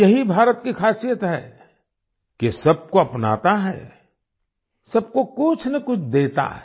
यही भारत की खासियत है कि सबको अपनाता है सबको कुछ न कुछ देता है